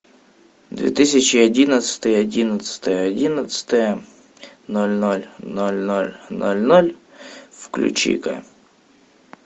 две тысячи одиннадцатый одиннадцатое одиннадцатое ноль ноль ноль ноль ноль ноль включи ка